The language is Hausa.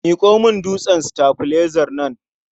Miƙo min dutsen sitabilaizar nan.